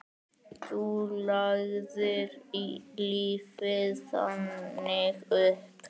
Þú lagðir lífið þannig upp.